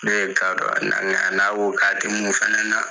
Ne ka dɔ na na n'a ko ka tɛ mun fɛnɛ na.